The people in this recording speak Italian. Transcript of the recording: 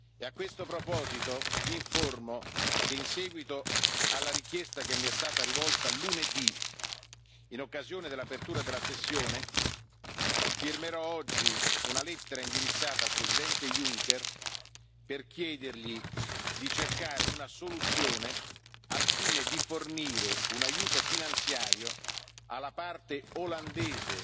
E a questo proposito vi informo che, in seguito alla richiesta che mi è stata rivolta lunedì, in occasione dell'apertura della sessione, firmerò oggi una lettera indirizzata al Presidente Juncker, per chiedergli di cercare una soluzione al fine di fornire un aiuto finanziario alla parte olandese